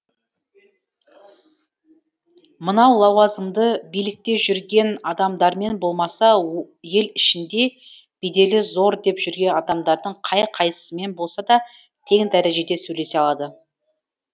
мынау лауазымды билікте жүрген адамдармен болмаса ел ішінде беделі зор деп жүрген адамдардың қай қайсысымен болса да тең дәрежеде сөйлесе алады